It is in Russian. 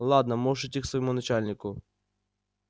ладно можешь идти к своему начальнику